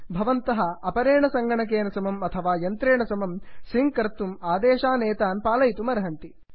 भवन्तः अपरेण सङ्गणकेन समम् अथवा यन्त्रेण समं सिङ्क् कर्तुं आदेशानेतान् पालयितुमर्हन्ति